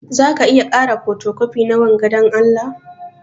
Zaka iya kara fotocopi na wanga dan Allah?